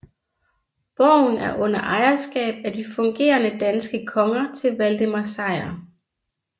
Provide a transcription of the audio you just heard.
Borgen er under ejerskab af de fungerende danske konger til Valdemar Sejr